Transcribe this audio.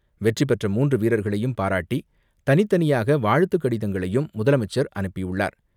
வெற்றிபெற்ற மூன்று வீரர்களையும் பாராட்டி, தனித்தனியாக வாழ்த்துக்கடிதங்களையும் முதலமைச்சர் அனுப்பியுள்ளார்.